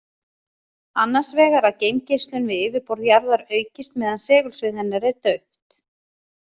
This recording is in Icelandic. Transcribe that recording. Annars vegar að geimgeislun við yfirborð jarðar aukist meðan segulsvið hennar er dauft.